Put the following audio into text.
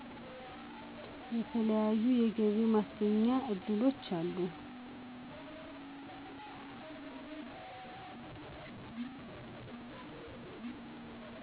የተለያዩ የገቢ ማስገኛ እድሎች አሉ